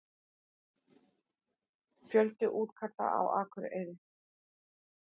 Fjöldi útkalla á Akureyri